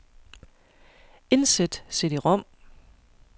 Indsæt cd-rom.